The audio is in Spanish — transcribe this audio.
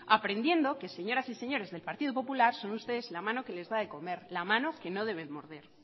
aprendiendo que señoras y señores del partido popular son ustedes la mano que les da de comer la mano que no deben morder